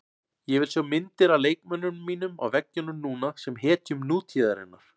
Ég vil sjá myndir af leikmönnunum mínum á veggjunum núna, sem hetjum nútíðarinnar.